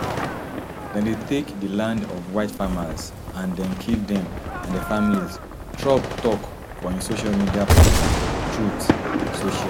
dem dey take di land of white farmers and den kill dem and dia familiestrump tok for im social media platform truth social